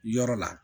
Yɔrɔ la